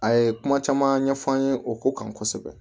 A ye kuma caman ɲɛfɔ an ye o ko kan kosɛbɛ